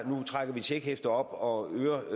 nu at trække et checkhæfte op og